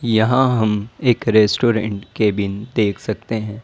यहां हम एक रेस्टोरेंट केबिन देख सकते हैं।